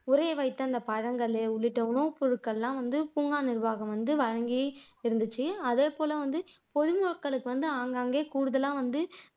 உறைய வைத்த அந்த பழங்கள் உள்ளிட்ட உணவுப்பொருட்கள் எல்லாம் வந்து பூங்கா நிர்வாகம் வந்து வழங்கி இருந்துச்சு அதேபோல வந்து பொதுமக்களுக்கு வந்து ஆங்காங்கே கூடுதலா வந்து